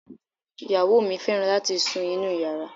Ìyàwó mi fẹ́ràn láti sun inúu yàrá.